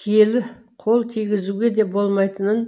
киелі қол тигізуге де болмайтынын